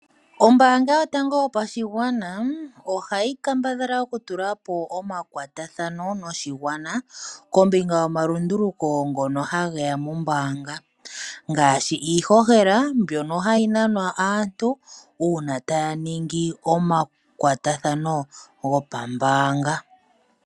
Ombaanga yotango yopashigwana, ohayi kambadhala okutula po omakwatathano noshigwana kombinga yomalunduluko ngono hage ya mombaanga ngaashi iihohela mbyoka hayi nanwa aantu uuna taya mono omayakulo gombaanga.